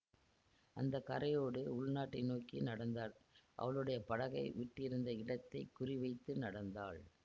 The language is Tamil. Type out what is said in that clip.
அந்த கரையோடு உள்நாட்டை நோக்கி நடந்தாள் அவளுடைய படகை விட்டிருந்த இடத்தை குறி வைத்து நடந்தாள்